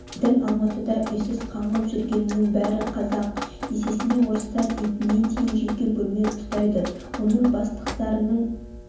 біздің алматыда үйсіз қаңғып жүргеннің бәрі қазақ есесіне орыстар итіне дейін жеке бөлме ұстайды оны бастықтарыңның